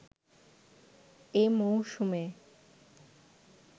এ মৌসুমে